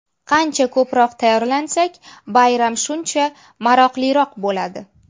Qancha ko‘proq tayyorlansak, bayram shuncha maroqliroq bo‘ladi!